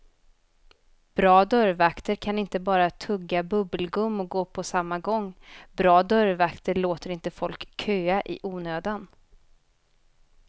Bra dörrvakter kan inte bara tugga bubbelgum och gå på samma gång, bra dörrvakter låter inte folk köa i onödan.